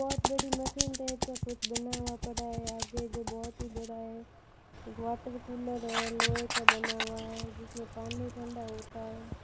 बहोत बड़ी machine type का कुछ बना हुआ पड़ा है आगे जो बहोत ही बड़ा है वाटर कूलर है लोहे का बना हुआ है जिसमें पानी ठंडा होता है।